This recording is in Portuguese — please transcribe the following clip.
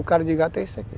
O cara de gato é isso aqui.